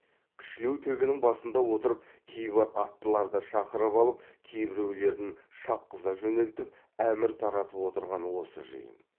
кішілеу төбенің басында отырып кейбір аттыларды шақырып алып кейбіреулерін шапқыза жөнелтіп әмір таратып отырған осы жиын